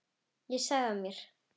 Ég sagði af mér.